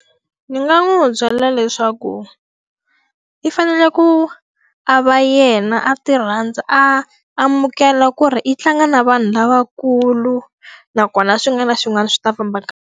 Ni nga n'wi byalela leswaku, i fanele ku a va yena a ti rhandza, a amukela ku ri i tlanga na vanhu lavakulu nakona swi nga na xin'wana na xin'wana swi ta famba kahle.